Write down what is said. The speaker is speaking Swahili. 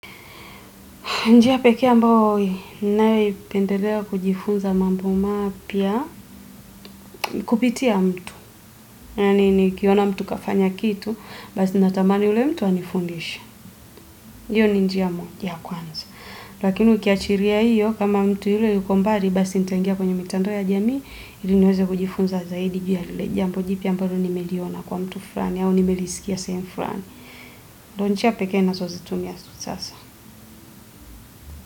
Njia pekee ambao nayopendelea kujifunza mambo mapya ni kupitia mtu. Yani nikiona mtu kafanya kitu, basi natamani yule mtu anifundishe. Hiyo ni njia moja ya kwanza. Lakini ukiachilia hiyo, kama mtu yule yuko mbali, basi nitangia kwenye mitandao ya jamii, ili niweze kujifunza zaidi juu ya lile jamba jipya ambalo nimeliona kwa mtu fulani, au nimelisikia sehemu fulani. Ndio njia pekee nazozitumia za sasa.